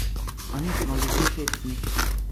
A nismo ljudje hecni?